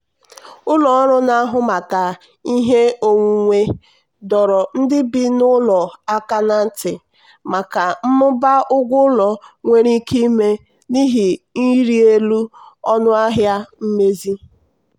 ụlọ ọrụ na-ahụ maka ihe onwunwe dọrọ ndị bi n'ụlọ aka ná ntị maka mmụba ụgwọ ụlọ nwere ike ime n'ihi ịrị elu ọnụ ahịa mmezi.